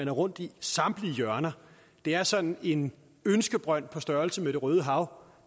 er rundt i samtlige hjørner det er sådan en ønskebrønd på størrelse med det røde hav